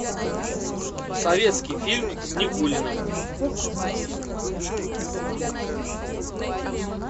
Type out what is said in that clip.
советский фильм с никулиным